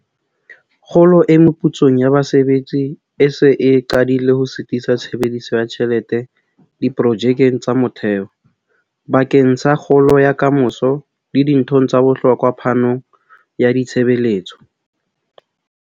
Kgolo e meputsong ya basebetsi e se e qadile ho sitisa tshebediso ya tjhelete diprojekeng tsa motheo, bakeng sa kgolo ya ka moso le dinthong tsa bohlokwa phanong ya ditshebeletso.